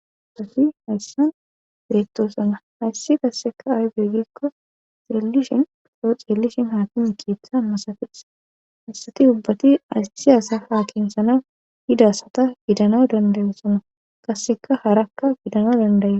safi hayssan beettosana hayssi kasseka aybey gikko xeellishin oroo xeellishin haakimi kiitha masafis hassati ubbati ayssi asafa kintshana yidaasata gidano dandayosona kasseka harakka gidano dandaye